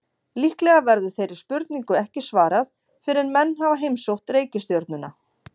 Líklega verður þeirri spurningu ekki svarað fyrr en menn hafa heimsótt reikistjörnuna.